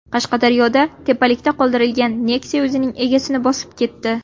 Qashqadaryoda tepalikda qoldirilgan Nexia o‘zining egasini bosib ketdi.